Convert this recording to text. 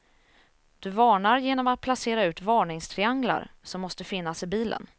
Du varnar genom att placera ut varningstrianglar, som måste finnas i bilen.